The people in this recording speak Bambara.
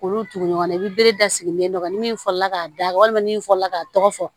Olu tugu ɲɔgɔn na i bi bere da sigilen dɔ kan ni min fɔla k'a da walima ni min fɔla k'a tɔgɔ fɔ